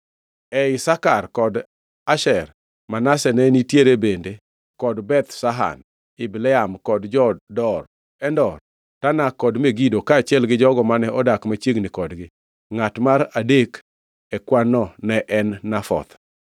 E Isakar kod Asher, Manase ne nitie bende kod Beth Shan, Ibleam kod jo-Dor, Endor, Tanak kod Megido, kaachiel gi jogo mane odak machiegni kodgi, ngʼat mar adek e kwan-no ne en Nafoth.